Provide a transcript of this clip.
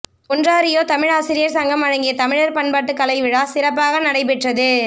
Ontario Tamil ஆசிரியர் சங்கம் வழங்கிய தமிழர் பண்பாட்டு கலைவிழா சிறப்பாக நடைபெற்றது